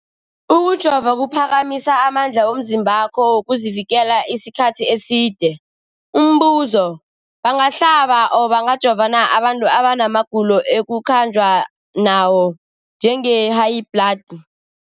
Ukujova kuphakamisa amandla womzimbakho wokuzivikela isikhathi eside. Umbuzo, bangahlaba, bangajova na abantu abana magulo ekukhanjwa nawo, njengehayibhladi?